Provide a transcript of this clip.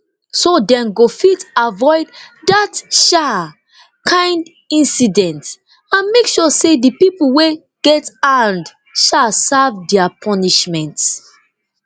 so dem go fit avoid dat um kind incident and make sure say di pipo wey get hand um serve dia punishment